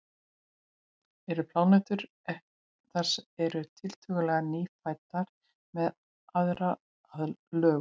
eru plánetur sem eru tiltölulega „nýfæddar“ með aðra lögun